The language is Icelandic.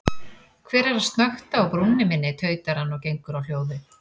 Hver er að snökta á brúnni minni, tautar hann og gengur á hljóðið.